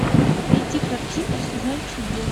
найти картину сезон чудес